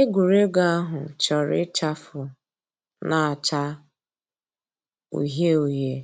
Ègwè́ré́gwụ̀ àhụ̀ chọ̀rọ̀ ịchàfụ̀ nà-àchá ǔhíe ǔhíe,